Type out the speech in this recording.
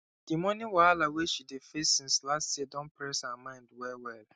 the money wahala wey she dey face since last year don dey press her mind well well